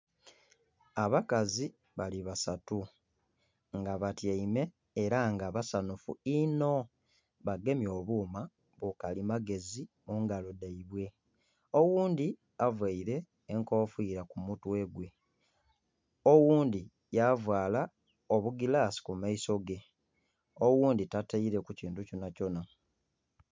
Abakazi bali basatu nga batyaime era nga basanhufu inho bagemye obuma bukalimagezi mungalo dhaibwe oghundhi avaire enkofira kumutwe gwe, oghundhi yavaala obugirasi kumaiso ge, oghundhi tataireku kintu kyonakyona.